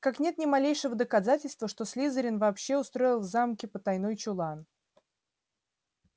как нет ни малейшего доказательства что слизерин вообще устроил в замке потайной чулан